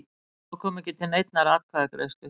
Þá kom ekki til neinnar atkvæðagreiðslu